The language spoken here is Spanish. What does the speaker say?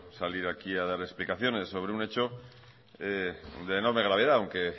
salir aquí a dar explicaciones sobre un hecho de enorme gravedad aunque